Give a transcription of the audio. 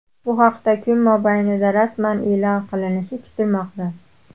Bu haqda kun mobaynida rasman e’lon qilinishi kutilmoqda.